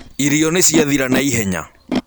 Irio nĩciathĩra naihenya.